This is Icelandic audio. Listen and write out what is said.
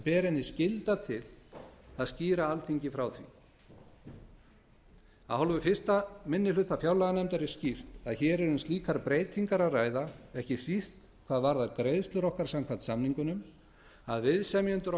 ber henni skylda til að skýra alþingi frá því af hálfu fyrsti minni hluta fjárlaganefndar er skýrt að hér er um slíkar breytingar að ræða ekki síst hvað varðar greiðslur okkar samkvæmt samningunum að viðsemjendur